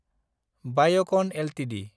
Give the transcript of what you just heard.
Biocon Ltd